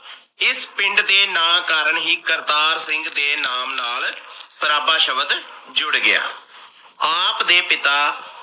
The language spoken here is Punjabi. ਇਸ ਪਿੰਡ ਦੇ ਨਾ ਕਾਰਨ ਹੀ ਕਰਤਾਰ ਸਿੰਘ ਦੇ ਨਾਮ ਨਾਲ ਸਰਾਬਾ ਸ਼ਬਦ ਜੁੜ ਗਿਆ। ਆਪ ਦੇ ਪਿਤਾ